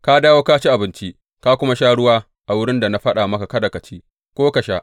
Ka dawo ka ci abinci, ka kuma sha ruwa a wurin da na faɗa maka kada ka ci, ko ka sha.